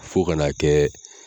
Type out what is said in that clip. Fɔ kan'a kɛ